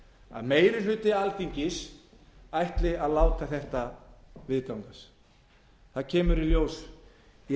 að meiri hluti alþingis ætli að láta þetta viðgangast það kemur í ljós í